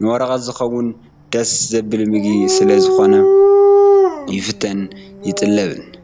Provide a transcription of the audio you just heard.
ንመቐረት ዝኸውን ደስ ዘብል ምግቢ ስለ ዝኾኑ ይፍተውን ይጥለቡን።